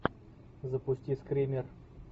запусти скример